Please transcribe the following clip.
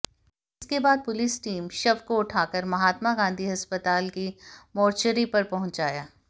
इसके बाद police team शव को उठाकर महात्मा गांधी अस्पताल की मोर्चरी पर पहुंचाया